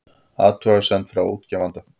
Athugasemd frá útgefanda